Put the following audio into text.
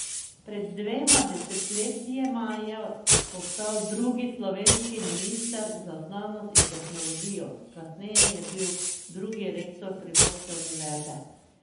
Pred dvema desetletjema je postal drugi slovenski minister za znanost in tehnologijo, kasneje je bil drugi rektor primorske univerze.